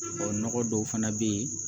Ɔ nɔgɔ dɔw fana bɛ yen